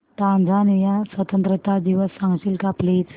Tanzania स्वतंत्रता दिवस सांगशील का प्लीज